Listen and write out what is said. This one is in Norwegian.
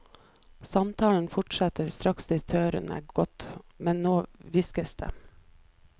Samtalen fortsetter straks direktøren er gått, men nå hviskes det.